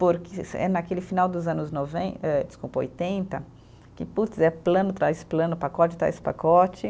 Porque é naquele final dos anos noven eh, desculpa, oitenta, que putz, é plano, traz plano, pacote, traz pacote.